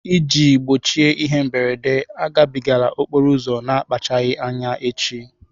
Iji gbochie ihe mberede, agabigala okporo ụzọ na-akpachapụghị anya echi.